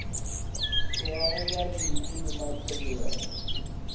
tšhogago ya dinkhu le matshwenyego